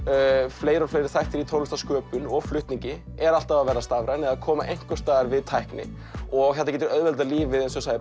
fleiri og fleiri þættir í tónlistarsköpun og flutningi eru alltaf að verða stafræn eða koma einhvers staðar við tækni og þetta getur auðveldað lífið